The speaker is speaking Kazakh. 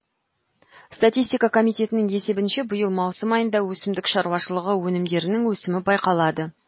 статистика комитетінің есебінше биыл маусым айында өсімдік шаруашылығы өнімдерінің өсімі байқалады